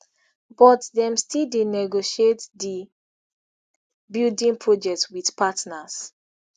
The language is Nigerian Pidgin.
but dem still dey negotiate di building project wit partners